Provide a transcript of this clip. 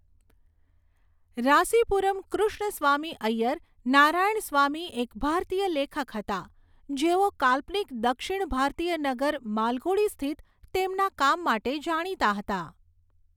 રાસીપુરમ કૃષ્ણસ્વામી ઐયર નારાયણસ્વામી એક ભારતીય લેખક હતા જેઓ કાલ્પનિક દક્ષિણ ભારતીય નગર માલગુડી સ્થિત તેમના કામ માટે જાણીતા હતા.